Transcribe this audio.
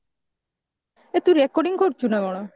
ଏଇ ତୁ recording କରୁଚୁ ନା କଣ